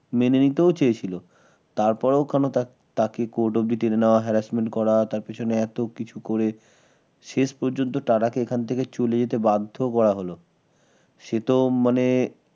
মেনে নিতেও চেয়েছিল তারপরও কেন তাকে Court অব্দি টেনে নেওয়া হ্য harassment করা আর পেছনে এত কিছু করে শেষ পর্যন্ত টাটা কে এখান থেকে চলে যেতে বাধ্য করা হলো। সেতো মানে